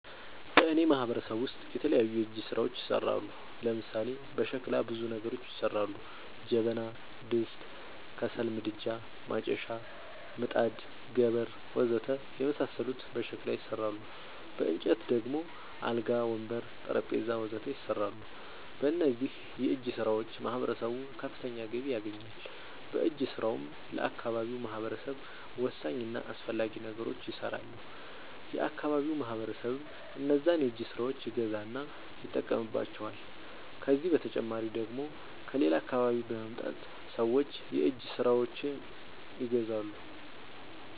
በእኔ ማህበረሰብ ውስጥ የተለያዩ የእጅ ስራዎች ይሠራሉ። ለምሳሌ፦ በሸክላ ብዙ ነገሮች ይሠራሉ። ጀበና፣ ድስት፣ ከሰል ምድጃ፣ ማጨሻ፣ ምጣድ፣ ገበር... ወዘተ የመሣሠሉት በሸክላ ይሠራሉ። በእንጨት ደግሞ አልጋ፣ ወንበር፣ ጠረንጴዛ..... ወዘተ ይሠራሉ። በእነዚህም የእጅስራዎች ማህበረሰቡ ከፍተኛ ገቢ ያገኛል። በእጅ ስራውም ለአካባቢው ማህበረሰብ ወሳኝ እና አስፈላጊ ነገሮች ይሠራሉ። የአካባቢው ማህበረሰብም እነዛን የእጅ ስራዎች ይገዛና ይጠቀምባቸዋል። ከዚህ በተጨማሪ ደግሞ ከሌላ አካባቢ በመምጣት ሠዎች የእጅ ስራዎቸችን ይገዛሉ።